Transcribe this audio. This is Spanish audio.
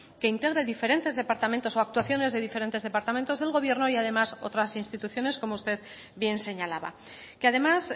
que integre diferentes departamentos o actuaciones de diferentes departamentos del gobierno y además otras instituciones como usted bien señalaba que además